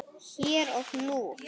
Hér og nú.